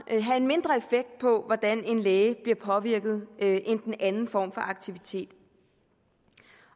have en mindre effekt på hvordan en læge bliver påvirket end end den anden form for aktivitet